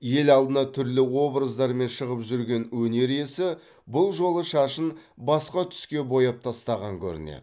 ел алдына түрлі образдармен шығып жүрген өнер иесі бұл жолы шашын басқа түске бояп тастаған көрінеді